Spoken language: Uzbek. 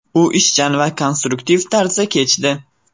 U ishchan va konstruktiv tarzda kechdi.